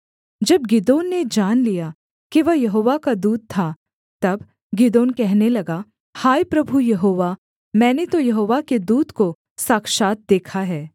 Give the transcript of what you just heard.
जब गिदोन ने जान लिया कि वह यहोवा का दूत था तब गिदोन कहने लगा हाय प्रभु यहोवा मैंने तो यहोवा के दूत को साक्षात् देखा है